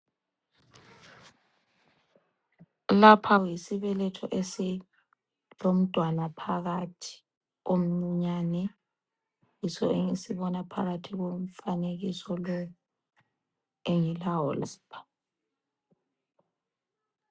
Lapha yisibeletho esilomntwana phakathi omncinyane yiso engisibona phakathi komfanekiso lo engilawo lapha.